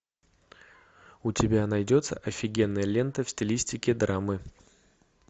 у тебя найдется офигенная лента в стилистике драмы